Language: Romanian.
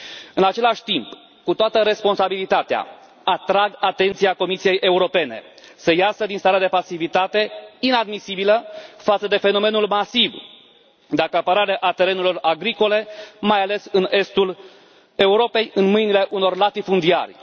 În același timp, cu toată responsabilitatea, atrag atenția Comisiei Europene să iasă din starea de pasivitate inadmisibilă față de fenomenul masiv de acaparare a terenurilor agricole, mai ales în estul Europei, în mâinile unor latifundiari.